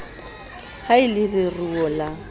ha e le leruo la